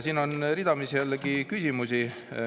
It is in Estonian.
Siin on jällegi ridamisi küsimusi.